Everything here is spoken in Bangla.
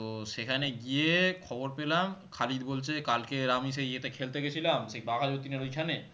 তো সেখানে গিয়ে খবর পেলাম খালিদ বলছে কালকে আমি সেই এতে খেলতে গেছিলাম সেই বাঘাযতীনের ঐখানে